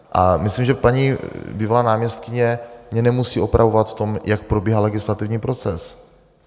A myslím, že paní bývalá náměstkyně mě nemusí opravovat v tom, jak probíhá legislativní proces.